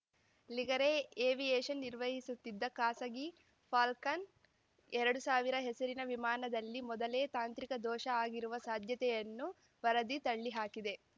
Ligare aviation ನಿರ್ವಹಿಸುತ್ತಿದ್ದ ಖಾಸಗಿ Falcon ಎರಡು ಸಾವಿರ ಹೆಸರಿನ ವಿಮಾನದಲ್ಲಿ ಮೊದಲೇ ತಾಂತ್ರಿಕ ದೋಷ ಆಗಿರುವ ಸಾಧ್ಯತೆಯನ್ನು ವರದಿ ತಳ್ಳಿಹಾಕಿದೆ